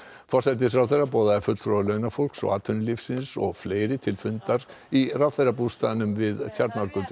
forsætisráðherra boðaði fulltrúa launafólks og atvinnulífsins og fleiri til fundar í ráðherrabústaðnum við Tjarnargötu